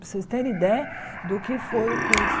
para vocês terem ideia do que foi o curso.